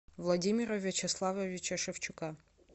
владимира вячеславовича шевчука